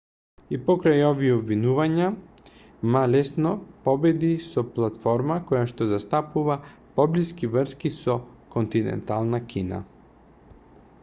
и покрај овие обвинувања ма лесно победи со платформа којашто застапува поблиски врски со континентална кина